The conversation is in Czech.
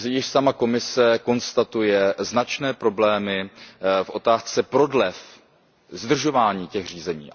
Sama Komise konstatuje značné problémy v otázce prodlev, zdržování těch řízení.